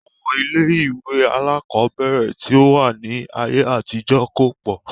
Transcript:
Àwọn ilé-ìwé alákọ̀ọ́bẹ̀ẹ̀rẹ̀ tí ó wà ní ayé àtijó kò pọ̀.